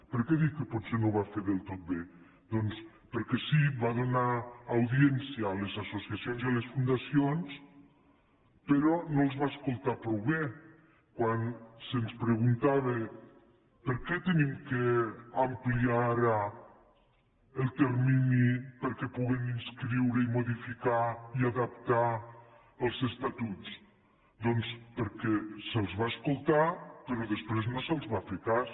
per què dic que potser no ho va fer del tot bé doncs perquè sí que va donar audiència a les associacions i a les fundacions però no els va escoltar prou bé quan se’ns preguntava per què hem d’ampliar ara el termini perquè puguem inscriure i modificar i adaptar els estatuts doncs perquè se’ls va escoltar però després no se’ls va fer cas